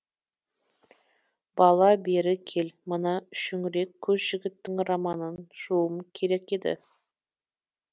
бала бері кел мына шүңірек көз жігіттің романын жууым керек еді